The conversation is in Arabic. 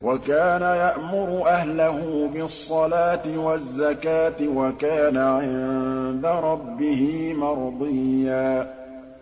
وَكَانَ يَأْمُرُ أَهْلَهُ بِالصَّلَاةِ وَالزَّكَاةِ وَكَانَ عِندَ رَبِّهِ مَرْضِيًّا